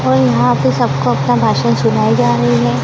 और यहां पे सबको अपना भाषण सुनाए जा रही है।